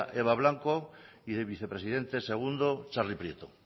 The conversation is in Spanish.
eva blanco y de vicepresidente segundo txarli prieto